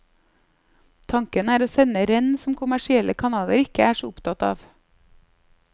Tanken er å sende renn som kommersielle kanaler ikke er så opptatt av.